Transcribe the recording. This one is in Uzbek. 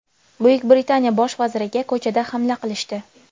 Buyuk Britaniya bosh vaziriga ko‘chada hamla qilishdi .